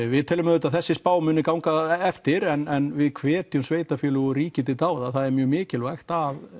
við teljum að þessi spá muni ganga eftir en við hvetjum sveitarfélög og ríki til dáða það er mjög mikilvægt